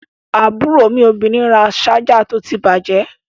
Àbúrò mi obìnrin ra ṣájà tó ti bàjẹ́.